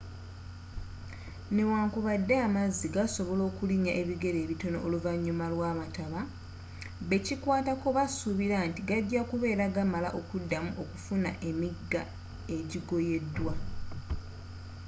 newankubadde amazzi gasobola okulinnya ebigere bitono oluvnyuma lwamataba bekikwatako basuubira nti gajja kubeera gamala okuddamu okufuna emigga egigoyedwa